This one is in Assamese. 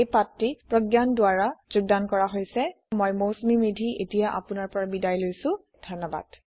এই পাঠটি প্ৰগয়ান বেজবৰুৱাই যোগদান কৰিছে আই আই টী বম্বে ৰ পৰা মই মৌচুমী মেধী এতিয়া আপুনাৰ পৰা বিদায় লৈছো যোগ দিয়াৰ বাবে ধণ্যবাদ